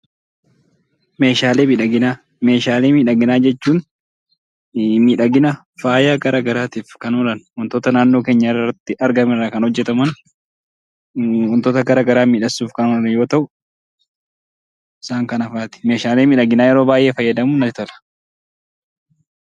Meeshaalee miidhaginaa. Meeshaalee miidhaginaa jechuun miidhagina faaya garaagaraatiif kan oolan waantota naannoo keenyaa irraatti argaman irraa kan oomishaman, waantota miidhagsuuf kan oolan yemmuu ta'u, isaan kana fa'aati. Isaan kana fayyadamuun natti tola.